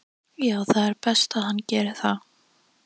Já það er best að hann geri það.